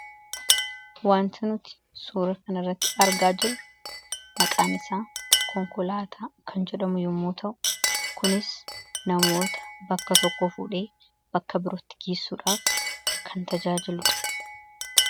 wanta nuti suura kan irratti argaa jiru maqaan isaa konkolaataa kan jedhamu yommoo ta'u kunis namoota bakka tokko fuudhee bakka birootti geessuudhaaf kan tajaajiludha.